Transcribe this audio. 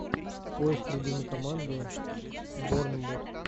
поиск любимый команды борнмут